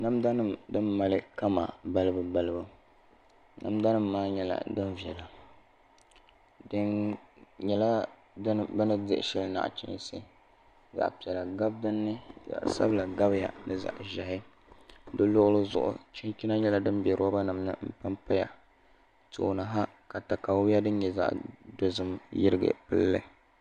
Namda nim din mali kama balibu balibu namda nim maa nyɛla din viɛla di nyɛla bi ni dihi shɛli nachiinsi zaɣ piɛla gabi dinni zaɣ sabila gabiya ni zaɣ ʒiɛhi di luɣuli zuɣu chinchina nyɛla din bɛ roba nim ni n panpaya tooni ha ka katawiya din nyɛ zaɣ dozim yirigi pilli